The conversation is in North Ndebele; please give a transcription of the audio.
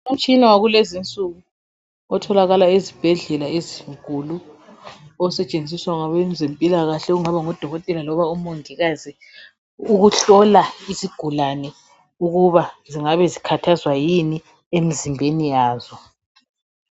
Umtshina wakulezinsuku otholakala ezibhedlela ezinkulu osetshenziswa ngabezempilakahle okungaba ngodokotela loba omongikazi ukuhlola izigulane ukuba zingabe zikhathazwa yimi emzimbeni yazo.